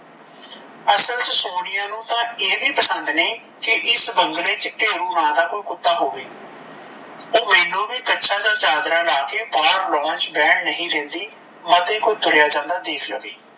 ਅਸਲ ਚ ਸੋਨੀਆ ਨੂੰ ਤਾਂ ਇਹ ਵੀ ਪਸੰਦ ਨਹੀਂ ਕੀ ਇਸ ਬੰਗਲੇ ਚ ਠੇਰੂ ਨਾਂ ਕੋਈ ਕੁੱਤਾ ਹੋਵੇ ਓਹ ਮੈਂਨੂੰ ਵੀ ਕਛਾ ਤੇ ਚਾਦਰਾ ਲਾਕੇ ਬਾਹਰ lawn ਚ ਬੈਣ ਨਹੀਂ ਦਿੰਦੀ ਮਤ ਕੋਈ ਭੂਤੜਿਆ ਜਾਦਾ ਦੇਖ ਲਵੇ।